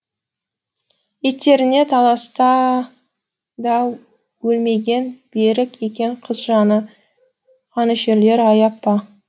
иттеріне талатса да өлмеген берік екен қыз жаны қанішерлер аяп па